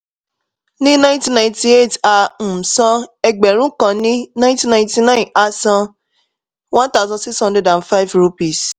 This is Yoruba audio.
ní thirty-one twelve nineteen ninety-eight owó tó wà ní ọwọ́ jẹ́ three thousand two hundred rupees